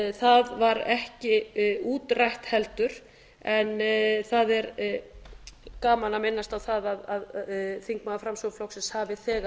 það var ekki útrætt heldur en það er gaman að minnast á það að þingmaður framsóknarflokksins hafi þegar